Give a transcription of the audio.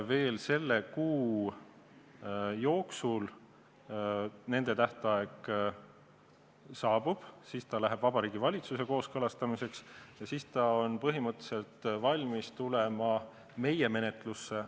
Veel selle kuu jooksul nendel tähtaeg saabub, siis läheb eelnõu Vabariigi Valitsusse kooskõlastamiseks ja siis ta on põhimõtteliselt valmis tulema meie menetlusse.